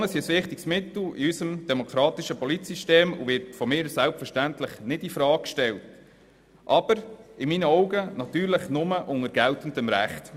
Demonstrationen sind ein wichtiges Mittel in unserem demokratischen Politsystem und werden von mir selbstverständlich nicht in Frage gestellt, allerdings nur unter geltendem Recht.